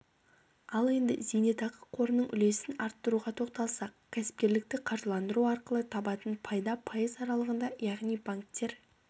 ал енді зейнетақы қорының үлесін арттыруға тоқталсақ кәсіпкерлікті қаржыландыру арқылы табатын пайда пайыз аралығында яғни банктер